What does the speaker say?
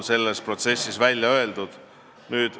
Selleski protsessis on kõlanud pooltõed.